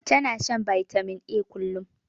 Ta na shan bitamin A kullum